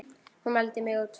Hún mældi mig út.